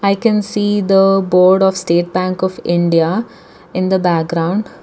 i can see the board of state bank of india in the background.